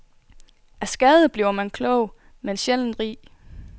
Af skade bliver man klog, men sjældent rig.